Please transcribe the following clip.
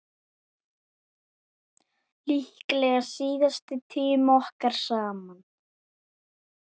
Líklega síðasti tími okkar saman.